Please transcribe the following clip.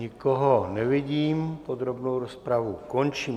Nikoho nevidím, podrobnou rozpravu končím.